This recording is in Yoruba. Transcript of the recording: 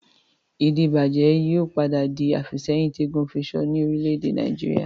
Ìdíbàjẹ́ yìí ó padà di àfìsẹ́yìn tí eégún fisọ ni Orílẹ̀ èdè Nàìjíríà